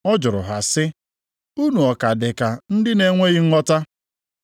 Ọ jụrụ ha sị, “Unu ọ ka dị ka ndị na-enweghị nghọta?